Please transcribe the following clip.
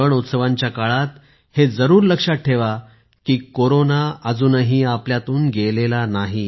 सण उत्सवांच्या काळात हे जरूर लक्षात ठेवा की कोरोना अजूनही आपल्यातून गेलेला नाही